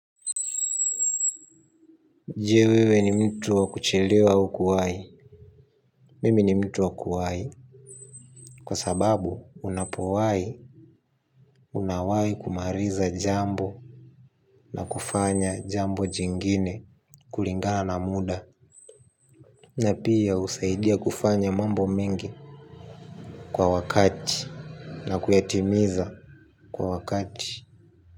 Je, wewe ni mtu wa kuchelewa au kuwahi? Mimi ni mtu wa kuwahi, kwa sababu unapowahi, unawahi kumaliza jambo na kufanya jambo jingine kulingana na muda. Na pia husaidia kufanya mambo mengi kwa wakati. Na kuyatimiza kwa wakati.